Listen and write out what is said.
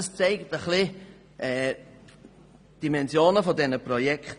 Das zeigt ein bisschen die Dimensionen der Projekte.